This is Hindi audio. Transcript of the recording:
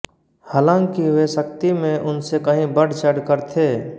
हालाँकि वे शक्ति में उनसे कही बढ़चढ़कर थे